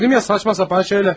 Dedim axı cəfəng şeylər.